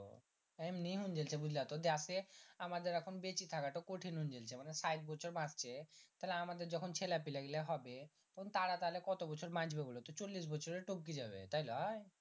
এমনি হুং গেল্ছে বুজলা তো দেশে আমাদের এখন বেঁচে থাকার কঠিন হউংগেল্ছে মানে সাইট বছর বাচছে তাহলে আমাদের যখন ছেলা পেলা গীলা হবে তাহলে তারা তখন কত বছর বাঁচবে বোলো তো চল্লিশ বছরে তবকি যাবে তাই লয়